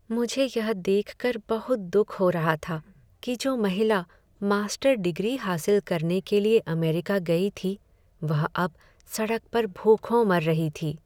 मुझे यह देख कर बहुत दुख हो रहा था कि जो महिला मास्टर डिग्री हासिल करने के लिए अमेरिका गई थी वह अब सड़क पर भूखों मर रही थी।